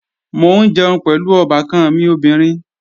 Mò ń jẹun pẹ̀lú ọbàkan mi obìnrin